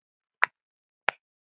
Hugur okkar er hjá ykkur.